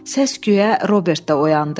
Səs-küyə Robert də oyandı.